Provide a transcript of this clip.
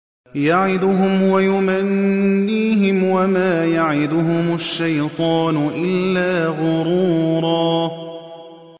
يَعِدُهُمْ وَيُمَنِّيهِمْ ۖ وَمَا يَعِدُهُمُ الشَّيْطَانُ إِلَّا غُرُورًا